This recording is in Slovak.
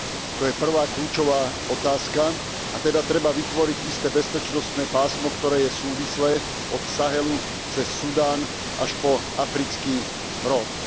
To je prvá kľúčová otázka a teda treba vytvoriť isté bezpečnostné pásmo, ktoré je súvislé od Sahelu cez Sudán až po Africký roh.